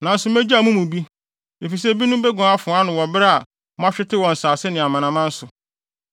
“ ‘Nanso megyaw mo mu bi, efisɛ ebinom beguan afoa ano wɔ bere a moahwete wɔ nsase ne amanaman so.